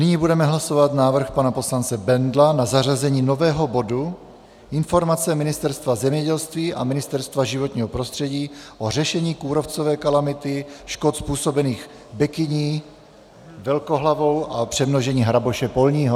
Nyní budeme hlasovat návrh pana poslance Bendla na zařazení nového bodu Informace Ministerstva zemědělství a Ministerstva životního prostředí o řešení kůrovcové kalamity, škod způsobených bekyní velkohlavou a přemnožení hraboše polního.